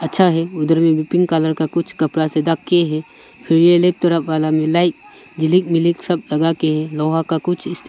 अच्छा है उधर भी पिंक कलर का कुछ कपड़ा से ढक के है फिर ये थोड़ा काला में लाइक सब जगा के है लोहा का कुछ